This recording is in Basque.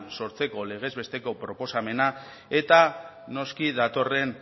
sortzeko legez besteko proposamena eta noski datorren